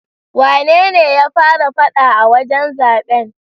Wanene ya fara faɗa a wajen zaben?